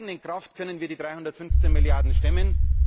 Mit unserer eigenen Kraft können wir die 315 Milliarden stemmen.